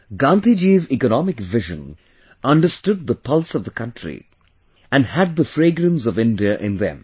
Gandhiji's economic vision understood the pulse of the country and had the fragrance of India in them